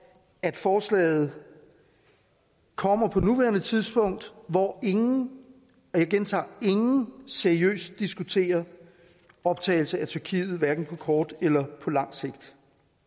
at forslaget kommer på nuværende tidspunkt hvor ingen og jeg gentager ingen seriøst diskuterer optagelse af tyrkiet hverken på kort eller lang sigt